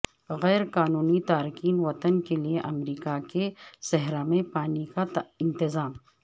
غیر قانونی تارکین وطن کے لیے امریکہ کے صحرا میں پانی کا انتظام